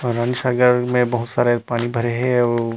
अऊ रानी सागर में बहुत सारे पानी भरे हे अऊ--